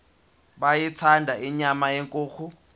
beyithanda inyama yenkukhu